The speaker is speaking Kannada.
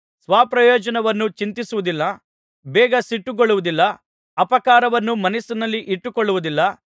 ಸ್ವಪ್ರಯೋಜನವನ್ನು ಚಿಂತಿಸುವುದಿಲ್ಲ ಬೇಗ ಸಿಟ್ಟುಗೊಳ್ಳುವುದಿಲ್ಲ ಅಪಕಾರವನ್ನು ಮನಸ್ಸಿನಲ್ಲಿ ಇಟ್ಟುಕೊಳ್ಳುವುದಿಲ್ಲ